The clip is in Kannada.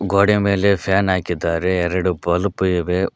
ಗ್ವಾಡೆಯ ಮೇಲೆ ಫ್ಯಾನ್ ಹಾಕಿದ್ದಾರೆ ಎರಡು ಬಲ್ಪ್ ಇವೆ.